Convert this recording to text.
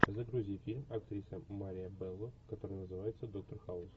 загрузи фильм актриса мария белло который называется доктор хаус